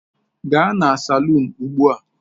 Gaa na salun ugbu a!